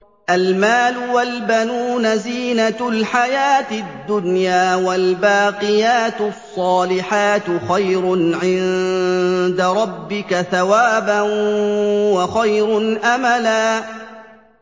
الْمَالُ وَالْبَنُونَ زِينَةُ الْحَيَاةِ الدُّنْيَا ۖ وَالْبَاقِيَاتُ الصَّالِحَاتُ خَيْرٌ عِندَ رَبِّكَ ثَوَابًا وَخَيْرٌ أَمَلًا